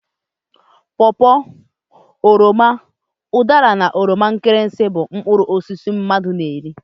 Paw paw, oroma, udara na oroma nkirisi bụ mkpụrụ osisi mmadụ na eri.